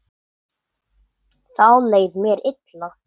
Þá leið mér illa.